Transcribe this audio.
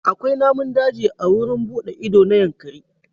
Akwai namun daji a wurin buɗe ido na Yankari.